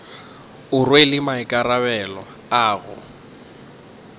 o rwele maikarabelo a go